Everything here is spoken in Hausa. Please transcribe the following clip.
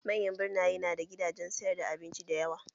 Manyan birnaye na da gidanjen sayar da abinci dayawa